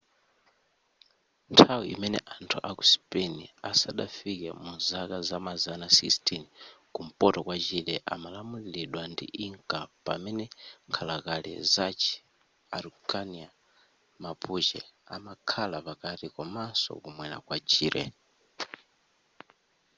nthawi imene anthu aku spain asadafike muzaka zamazana 16 kumpoto kwa chile amalamuliridwa ndi inca pamene nkhalakale zachi araucania mapuche amakhala pakati komanso kumwera kwa chile